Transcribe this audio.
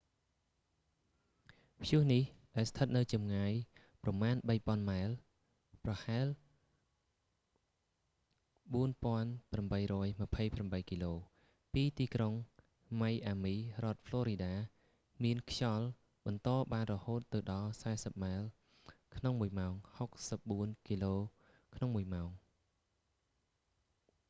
ព្យុះនេះ ដែលស្ថិតនៅចម្ងាយប្រមាណ 3,000 ម៉ែល ប្រហែល 4828 គីឡូ ពីទីក្រុងម៉ៃអាមី រដ្ឋផ្លរីដា មានខ្យល់បន្តបានរហូតដល់ទៅ 40 ម៉ែលក្នុងមួយម៉ោង 64 គីឡូក្នុងមួយម៉ោង